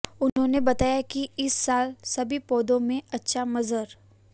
उन्होने बताया की इस साल सभी पौधो में अच्छा मंजर